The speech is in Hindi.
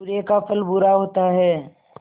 बुरे का फल बुरा होता है